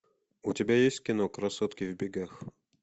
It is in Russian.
у тебя есть кино красотки в бегах